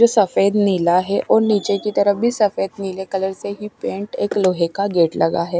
जो सफेद नीला है और नीचे की तरफ भी सफेद नीले कलर से ही पेंट एक लोहे का गेट लगा है।